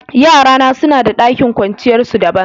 Yara na suna da dakin kwanciyar su dabban.